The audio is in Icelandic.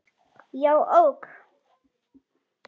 Já, ok.